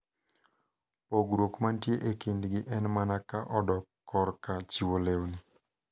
Pogruok mantie e kindgi en mana ka odok korka chiwo lewni.